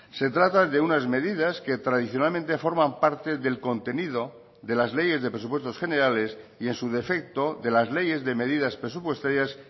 se trata de unas medidas que tradicionalmente forman parte del contenido de las leyes de presupuestos generales y en su defecto de las leyes de medidas presupuestarias